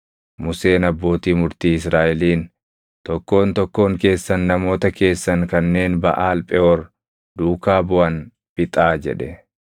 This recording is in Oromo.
Museen abbootii murtii Israaʼeliin, “Tokkoon tokkoon keessan namoota keessan kanneen Baʼaal Pheʼoor duukaa buʼan fixaa” jedhe.